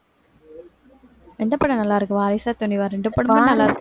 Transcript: எந்த படம் நல்லாருகு வாரிசா துணிவா இரண்டு படமும் நல்லா இருக்கு